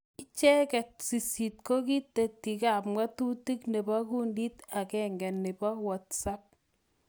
Icheket sisit kokitetikap ng'atutik nebo kundit agenge nebo whatsapp